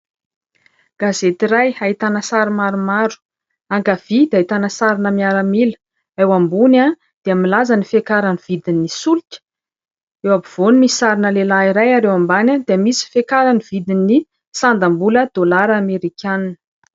Gazety iray ahitana sary maromaro. Ankavia dia ahitana sarina miaramila, ao ambony dia milaza ny fiakaran'ny vidin'ny solika, eo ampovoany misy sarina lehilahy iray ary eo ambany dia misy fiakaran'ny vidin'ny sandam-bola dolara amerikanina.